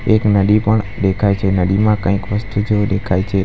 એક નદી પણ દેખાય છે નદીમાં કંઈક વસ્તુ જેવું દેખાય છે.